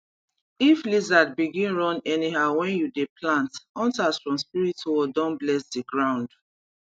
if lizard begin run anyhow when you dey plant hunters from spirit world don bless the ground